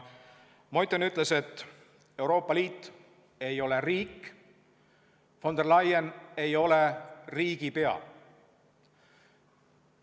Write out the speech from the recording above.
Meuthen ütles, et Euroopa Liit ei ole riik, von der Leyen ei ole riigipea.